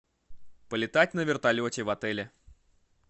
полетать на вертолете в отеле